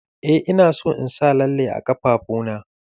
Eh ina son in sa lalle a ƙafafuna.